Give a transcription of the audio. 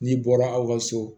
N'i bɔra aw ka so